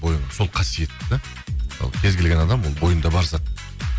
бойың сол қасиетті мысалы кез келген адам ол бойында бар зат